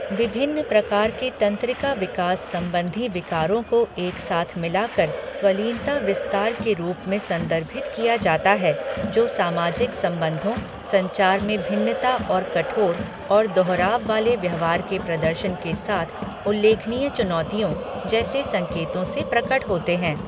विभिन्न प्रकार के तंत्रिका विकास संबंधी विकारों को एक साथ मिला कर स्वलीनता विस्तार के रूप में संदर्भित किया जाता है, जो सामाजिक संबंधों, संचार में भिन्नता और कठोर और दोहराव वाले व्यवहार के प्रदर्शन के साथ उल्लेखनीय चुनौतियों जैसे संकेतों से प्रकट होते हैं।